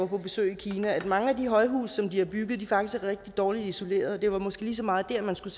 på besøg i kina at mange af de højhuse som de har bygget faktisk er rigtig dårligt isoleret og det var måske lige så meget der man skulle